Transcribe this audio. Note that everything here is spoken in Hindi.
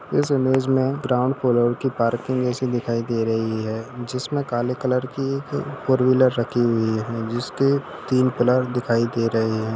इस इमेज में ग्राउंड फ्लोर की पार्किंग जैसी दिखाई दे रही है जिसमें काले कलर की फोर व्हीलर रखी हुई है जिसके तीन पिलर दिखाई दे रहे हैं।